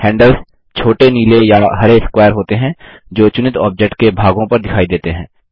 handles छोटे नीले या हरे स्क्वायर होते हैं जो चुनित ऑब्जेक्ट के भागों पर दिखाई देते हैं